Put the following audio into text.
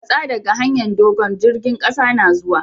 Matsa dage hanyar dogo'n! jirigin kasa na zuwa!